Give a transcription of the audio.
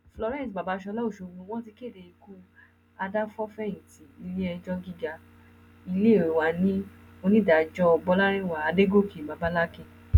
florence babasola ọṣọgbó wọn ti kéde ikú àdàfòfẹyìntì iléẹjọ gíga ilé wa ni onídàájọ bọlárìnwá àdọgọkè babalakín